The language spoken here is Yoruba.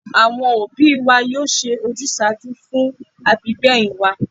Àwọn òbí wa yóò ṣe ojúsàájú fún àbígbẹ̀yìn wa